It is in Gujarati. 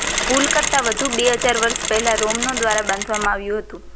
પુલ કરતાં વધુ બે હજાર વર્ષ પહેલાં રોમનો દ્વારા બાંધવામાં આવ્યું હતું